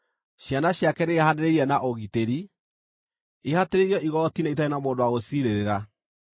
Ciana ciake nĩiraihanĩrĩirie na ũgitĩri, ihatĩrĩirio igooti-inĩ itarĩ na mũndũ wa gũciciirĩrĩra.